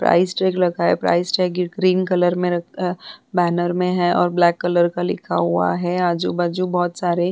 Price tag लगा है। Price tag green colour मैं लगा है बैनर मैं है और ब्लैक कलर का लिखा हुआ है। आजू-बाजू बोहोत सारे --